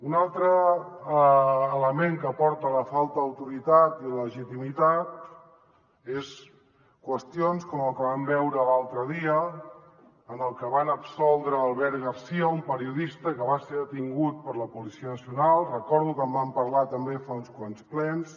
un altre element que porta a la falta d’autoritat i de legitimitat són qüestions com el que vam veure l’altre dia que van absoldre albert garcía un periodista que va ser detingut per la policia nacional recordo que en vam parlar també fa uns quants plens